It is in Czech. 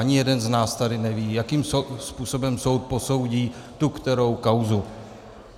Ani jeden z nás tady neví, jakým způsobem soud posoudí tu kterou kauzu.